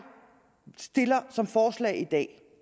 stiller som forslag i dag